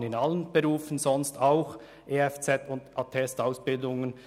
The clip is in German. Es gibt in allen Berufen Attest-Ausbildungen.